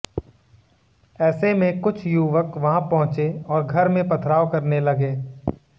ऐसे में कुछ युवक वहां पहुंचे और घर में पथराव करने लगे